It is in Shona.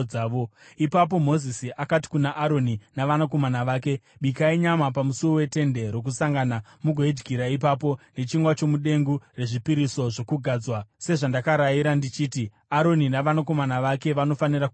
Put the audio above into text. Ipapo Mozisi akati kuna Aroni navanakomana vake, “Bikai nyama pamusuo weTende Rokusangana mugoidyira ipapo nechingwa chomudengu rezvipiriso zvokugadzwa sezvandakarayira ndichiti, ‘Aroni navanakomana vake vanofanira kuchidya.’